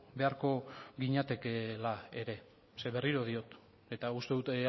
beharko ginatekeela ere ze berriro diot eta uste dut